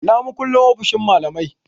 Ina makullin ofishin malamai?